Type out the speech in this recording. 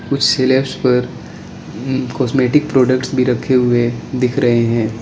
कुछ सिलैब्स पर उं कॉस्मेटिक प्रोडक्ट्स भी रखे हुए दिख रहे हैं।